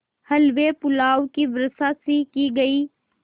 हलवेपुलाव की वर्षासी की गयी